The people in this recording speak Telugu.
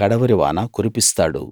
కడవరి వాన కురిపిస్తాడు